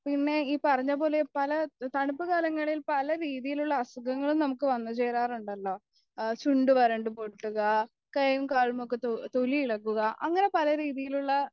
പിന്നെ ഈ പറഞ്ഞപോലെ പല തണുപ്പുകാലങ്ങളിൽ പല രീതിയിലുള്ള അസുഖങ്ങളും നമ്മുക്ക് വന്നുചേരാറുണ്ടല്ലൊ ആ ചുണ്ട് വരണ്ട് പൊട്ടുക തൊലി ഇളക്കുക അങ്ങനെ പലരീതിയിലുള്ള